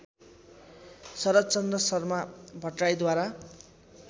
Sharadchandra Sharma भट्टराईद्वारा